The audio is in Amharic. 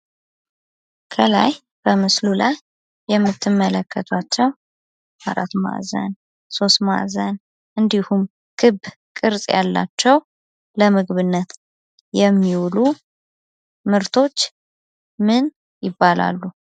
ከላይ በምስሉ ላይ የምትመለከቷቸው አራት ማዕዘን ሶስት ማዕዘን እንዲሁም ክብ ቅርፅ ያላቸው ለምግብነት የሚውሉ ምርቶች ምን ይባላሉ?